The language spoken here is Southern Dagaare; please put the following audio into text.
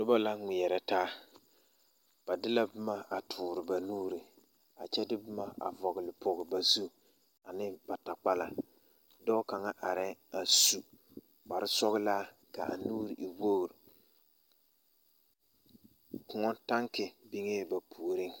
Noba ŋmeɛrɛ taa ba de la boma a tuuri ba nuuri a kyɛ de boma a vɔɔle ba zu ne ba takpala dɔɔ kaŋa arɛɛ a su kparsɔɡelaa ka a nuuri e woɡri kõɔ taŋke beŋee ba puoriŋ.